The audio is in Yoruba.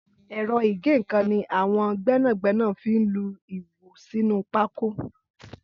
Ẹrọ igẹ̀nnkán ni awọn gbẹnágbẹná fi n lú iwó sinú pákó